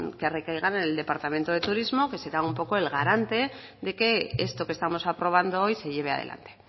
que recaigan en el departamento de turismo que será un poco el garante de que esto que estamos aprobando hoy se lleve adelante